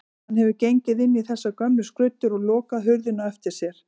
Hann hefur gengið inn í þessar gömlu skruddur og lokað hurðinni á eftir sér.